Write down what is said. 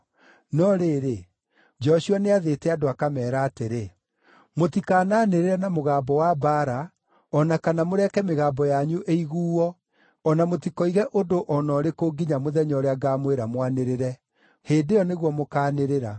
No rĩrĩ, Joshua nĩathĩte andũ akameera atĩrĩ, “Mũtikananĩrĩre na mũgambo wa mbaara, o na kana mũreke mĩgambo yanyu ĩiguo, o na mũtikoige ũndũ o na ũrĩkũ nginya mũthenya ũrĩa ngamwĩĩra mwanĩrĩre. Hĩndĩ ĩyo nĩguo mũkaanĩrĩra!”